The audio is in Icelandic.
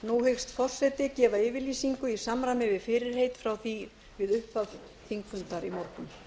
nú hyggst forseti gefa yfirlýsingu í samræmi við fyrirheit frá því við upphaf þingfundar í morgun